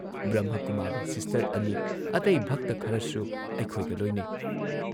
Brahmakumari sister ꯑꯅꯤ, ꯑꯇꯩ ꯚꯛꯇ ꯈꯔꯁꯨ ꯑꯩꯈꯣꯏꯒ ꯂꯣꯏꯅꯩ ꯫